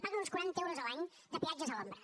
paguen uns quaranta euros l’any de peatges a l’ombra